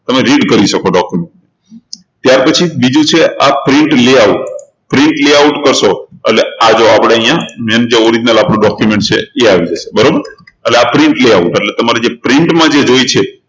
તમે read કરી શકો document ખાલી ત્યારપછી આ બીજું છે આ print layoutprint layout કરશો એટલે આ જો આપણે અહિયાં જેમકે original document આપણું જે છે એ આવી જશે બરોબર એટલે આ print layout એટલે તમારે print જે જોઈએ છે